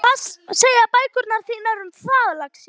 Hvað segja bækurnar þínar um það, lagsi?